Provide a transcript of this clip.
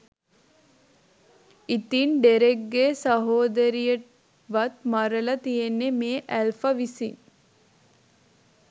ඉතින් ඩෙරෙක්ගේ සහෝදරියවත් මරළා තියෙන්නේ මේ ඇල්ෆා විසින්